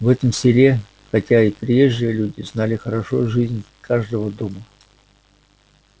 в этом селе хотя и приезжие люди знали хорошо жизнь каждого дома